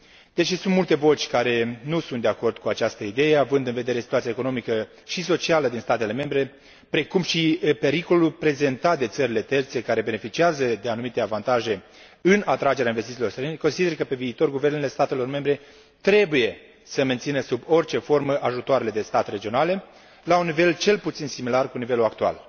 Deși sunt multe voci care nu sunt de acord cu această idee, având în vedere situația economică și socială din statele membre, precum și pericolul prezentat de țările terțe care beneficiază de anumite avantaje în atragerea investițiilor străine, consider că, pe viitor, guvernele statelor membre trebuie să mențină sub orice formă ajutoarele de stat regionale, la un nivel cel puțin similar cu cel actual.